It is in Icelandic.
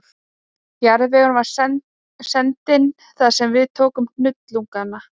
Jarðvegurinn var sendinn þar sem við tókum hnullungana